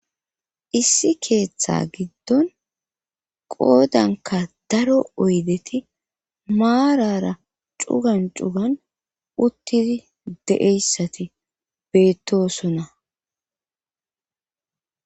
issi keeththa giddon qoodanka daro oydeti maarara cugan cugan uttidi de7eyssati beettosonna